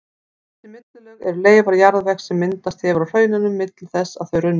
Þessi millilög eru leifar jarðvegs sem myndast hefur á hraununum milli þess að þau runnu.